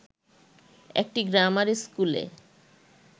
একটি গ্রামার স্কুলে